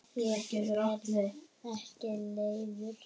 Ég verð ekki leiður.